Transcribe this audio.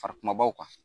Fara kumabaw kan